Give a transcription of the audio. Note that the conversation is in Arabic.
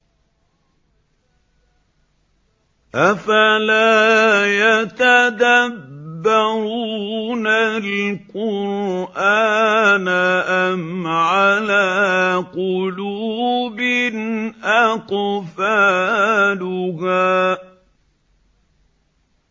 أَفَلَا يَتَدَبَّرُونَ الْقُرْآنَ أَمْ عَلَىٰ قُلُوبٍ أَقْفَالُهَا